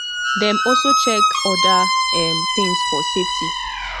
dem also check oda um tins for safety